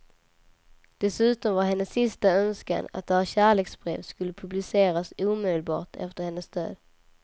Dessutom var hennes sista önskan att deras kärleksbrev skulle publiceras omedelbart efter hennes död.